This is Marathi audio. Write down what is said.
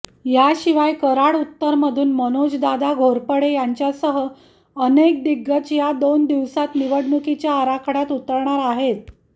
याशिवाय कराड उत्तरमधून मनोजदादा घोरपडे यांच्यासह अनेक दिग्गज या दोन दिवसात निवडणुकीच्या आखाड्यात उतरणार आहेत